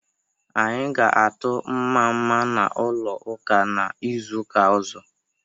Anyị ga atụ nmamma n'ụlọ ụka n'izuka ozo